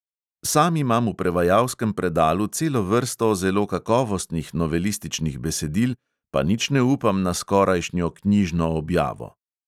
Sam imam v prevajalskem predalu celo vrsto zelo kakovostnih novelističnih besedil, pa nič ne upam na skorajšnjo knjižno objavo.